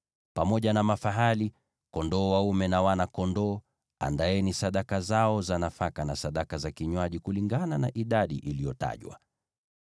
Pamoja na mafahali, kondoo dume, na wana-kondoo, andaeni sadaka zao za nafaka na sadaka za vinywaji, kulingana na idadi iliyoainishwa.